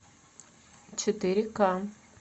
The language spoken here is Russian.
четыре ка